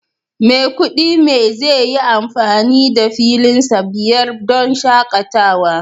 Maikudi me zai yi amfani da filinsa biyar don shakatawa